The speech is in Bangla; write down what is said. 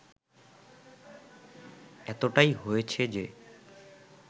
এতটাই হয়েছে যে